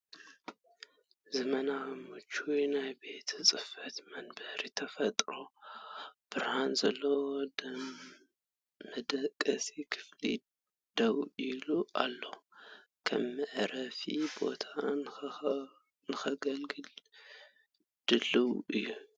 ዘመናውን ምቹውን ናይ ቤት ጽሕፈት መንበር ኣብ ተፈጥሮኣዊ ብርሃን ዘለዎ መደቀሲ ክፍሊ ደው ኢሉ ኣሎ፣ ከም መዕረፊ ቦታ ንኸገልግል ድሉው እዩ።